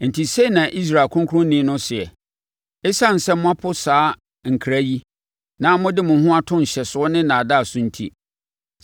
Enti sei na Israel Ɔkronkronni no seɛ: “Esiane sɛ moapo saa nkra yi, na mode mo ho ato nhyɛsoɔ ne nnaadaa so enti,